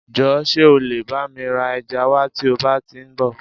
Jọ̀ọ́ ṣe ọ lẹ̀ bá mi ra ẹja wa tí o bá ti ń bọ?